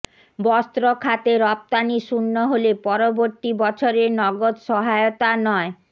বস্ত্র খাতে রফতানি শূন্য হলে পরবর্তী বছরে নগদ সহায়তা নয়